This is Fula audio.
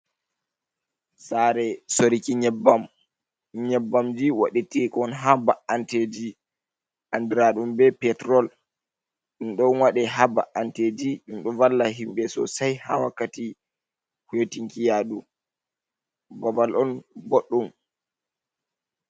Saare soriki nyebbamji waɗateekon haa ba’anteeji anndiraaɗum be petrul, ɗum ɗon waɗe haa ba’anteeji, ɗum ɗo valla himɓe soosai haa wakkati hoytinki yaadu, babbal on boɗɗum.